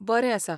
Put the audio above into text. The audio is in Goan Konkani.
बरें आसा.